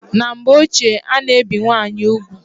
Na mgbe ọchie ana ebi nwaanyị ụgwụ